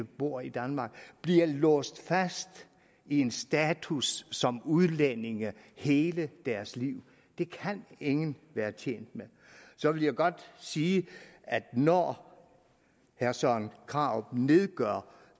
bor i danmark bliver låst fast i en status som udlændinge hele deres liv det kan ingen være tjent med så vil jeg godt sige når herre søren krarup nedgør